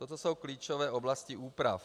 Toto jsou klíčové oblasti úprav.